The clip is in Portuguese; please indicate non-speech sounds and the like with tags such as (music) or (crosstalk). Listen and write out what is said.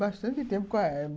Bastante tempo com a (unintelligible)